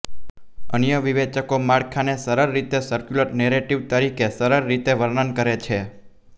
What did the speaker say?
અન્ય વિવેચકો માળખાને સરળ રીતે સર્ક્યુલર નેરેટીવતરીકે સરળ રીતે વર્ણન કરે છે